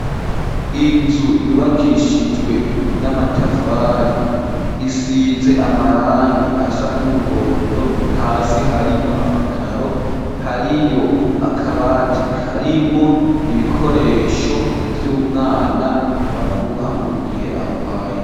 Inzu, yubakishijwe n'amatafari, isize amarangi, asa n'umuhondo; hasi hariho amakaro, hariyo akabati, harimwo ibikoresho vy'umwana, bamuha mu gihe, agwaye.